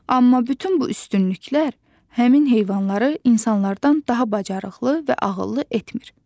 Amma bütün bu üstünlüklər həmin heyvanları insanlardan daha bacarıqlı və ağıllı etmir.